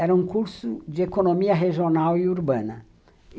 Era um curso de economia regional e urbana.